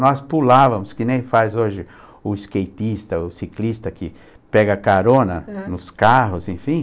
Nós pulávamos, que nem faz hoje o skateista, o ciclista que pega carona nos carros, enfim.